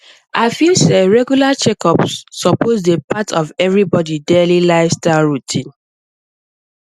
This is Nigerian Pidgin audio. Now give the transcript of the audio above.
i feel say regular checkups suppose dey part of everybody daily lifestyle routine